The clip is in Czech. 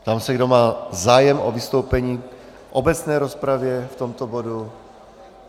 Ptám se, kdo má zájem o vystoupení v obecné rozpravě v tomto bodu.